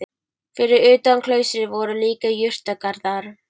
Fyrir utan klaustrið voru líka jurtagarðar.